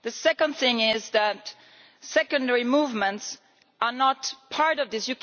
The second thing is that secondary movements are not part of this.